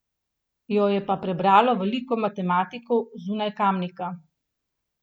Jo je pa prebralo veliko matematikov zunaj Kamnika.